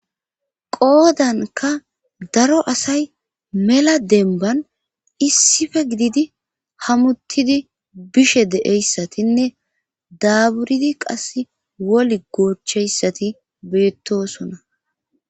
qoodanka daro asay mela denban issife gididi hamuttidi bishe deeyssatinne daaburidi qas woli goocheyssati beettosona